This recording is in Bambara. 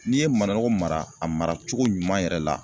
N'i ye managɔ mara a mara cogo ɲuman yɛrɛ la